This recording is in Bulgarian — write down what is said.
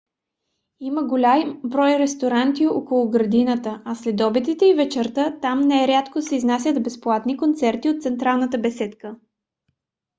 има голям брой ресторанти около градината а следобедите и вечерта там нерядко се изнасят безплатни концерти от централната беседка